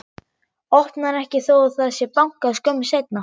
Opnar ekki þó að það sé bankað skömmu seinna.